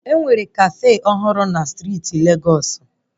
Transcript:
Enwere kafe ọhụrụ na Legos steeti